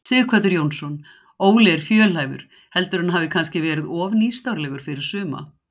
Sighvatur Jónsson: Óli er fjölhæfur, heldurðu að hann hafi kannski verið of nýstárlegur fyrir suma?